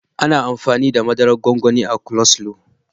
Ana amfani da mazaran gwangwani a coleslaw.